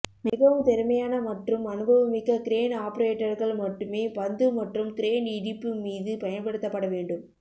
மிகவும் திறமையான மற்றும் அனுபவமிக்க கிரேன் ஆபரேட்டர்கள் மட்டுமே பந்து மற்றும் கிரேன் இடிப்பு மீது பயன்படுத்தப்பட வேண்டும்